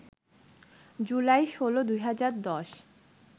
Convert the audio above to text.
July ১৬, ২০১০